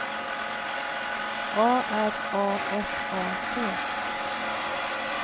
A R A F A T